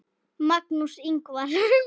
Magnús Ingvar.